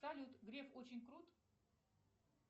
салют греф очень крут